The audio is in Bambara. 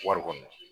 Wari kɔni